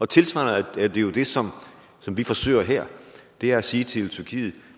tilsvarende er det jo det som som vi forsøger her det er at sige til tyrkiet